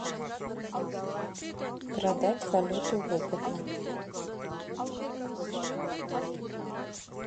продать валюту выгодно